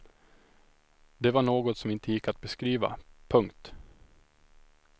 Det var något som inte gick att beskriva. punkt